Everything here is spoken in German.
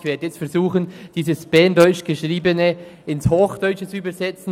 Ich werde jetzt versuchen, dieses berndeutsch Geschriebene ins Hochdeutsche zu übersetzen.